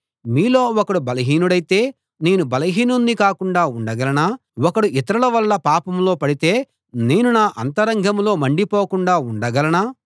మీలో ఒకడు బలహీనుడైతే నేనూ బలహీనుణ్ణి కాకుండా ఉండగలనా ఒకడు ఇతరుల వల్ల పాపంలో పడితే నేను నా అంతరంగంలో మండిపోకుండా ఉండగలనా